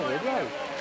De burdan.